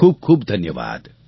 ખૂબ ખૂબ ધન્યવાદ